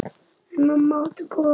En mamma átti góða að.